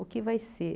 O que vai ser?